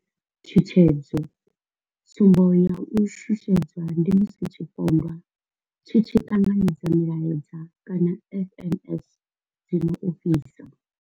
Tshutshedzo tsumbo ya u shushedzwa ndi musi tshipondwa tshi tshi ṱanganedza milaedza kana SMS dzi no ofhisa.